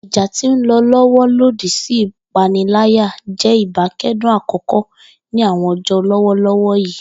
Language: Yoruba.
Ija ti nlọ lọwọ lodi si ipanilaya jẹ ibakcdun akọkọ ni awọn ọjọ lọwọlọwọ yii.